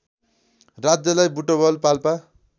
राज्यलाई बुटवल पाल्पा